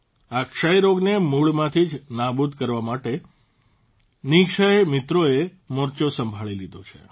આ ક્ષય રોગને મૂળમાંથી જ નાબૂદ કરવા માટે નિઃક્ષય મિત્રોએ મોરચો સંભાળી લીધો છે